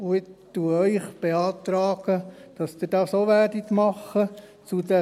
Ich beantrage Ihnen, dies ebenfalls zu tun.